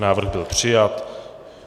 Návrh byl přijat.